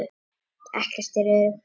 Ekkert er öruggt.